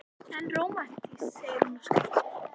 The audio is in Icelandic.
En rómantískt, segir hún og skríkir.